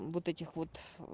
вот этих вот